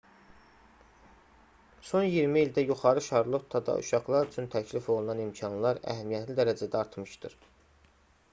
son 20 ildə yuxarı şarlottada uşaqlar üçün təklif olunan imkanlar əhəmiyyətli dərəcədə artmışdır